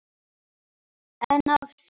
En of seint.